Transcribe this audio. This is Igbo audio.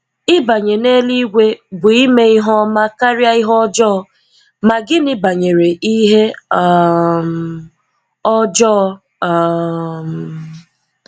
Ịbanye n’Eluigwe bụ ime ihe ọma karịa ihe ọjọọ, ma gịnị banyere ihe um ọjọọ? um